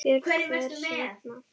Björn: Hvers vegna?